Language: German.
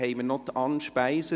Möchten Sie etwas sagen?